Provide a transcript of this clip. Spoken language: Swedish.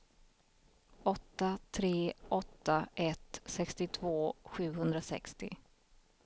åtta tre åtta ett sextiotvå sjuhundrasextio